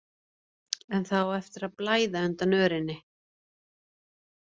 En það á eftir að blæða undan örinni.